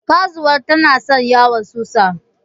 karzuwa tana sa yawan susa